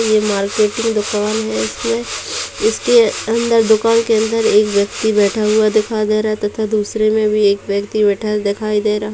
ये मार्केटिंग दुकान है। इसमे इसके अंदर दुकान के अंदर एक व्यक्ति बैठा हुआ दिखाई दे रहा है तथा दूसरे में भी एक व्यक्ति बैठा हुआ दिखाई दे रहा --